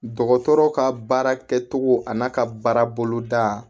Dɔgɔtɔrɔ ka baara kɛcogo a n'a ka baara bolo da